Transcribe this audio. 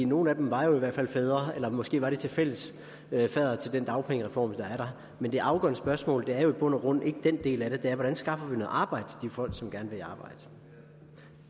nogle af dem var jo i hvert fald fædre eller måske var de fælles faddere til den dagpengereform der er men det afgørende spørgsmål er jo i bund og grund ikke den del af det det er hvordan vi skaffer noget arbejde til de folk som gerne vil